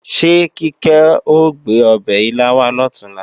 Ṣé Kíkẹ́ ò gbé ọbẹ̀ ilá wá lọ̀túnla?